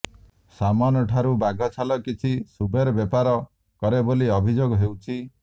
ସାମନଠାରୁ ବାଘ ଛାଲ କିଛି ସୁବେର ବେପାର କରେ ବୋଲି ଅଭିଯୋଗ ହେଉଛି